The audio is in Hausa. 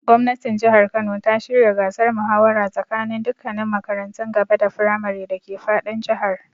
Gwamnatin Jihar Kano ta shirya gasar muhawara tsakaninin dukkannin makarantun gaba da firamare dake fadin Jihar.